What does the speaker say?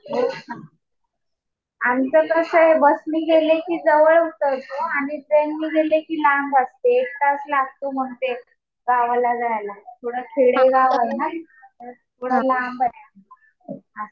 हो का. आमचं कसं आहे, बसने गेले कि जवळ पडतं आणि ट्रेनने गेले कि लांब वाटते. एक तास लागतो मग ते गावाला जायला. थोडं खेडेगाव आहे ना ते. थोडं लांब आहे.